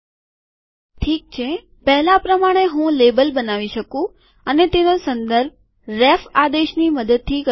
ઠીક છે પહેલાં પ્રમાણે હું લેબલ બનાવી શકું અને તેનો સંદર્ભ રેફ આદેશની મદદથી કરી શકાય